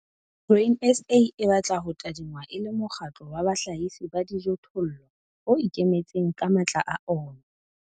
Grain SA e batla ho tadingwa e le mokgatlo wa bahlahisi ba dijothollo, o ikemetseng ka matla a ona.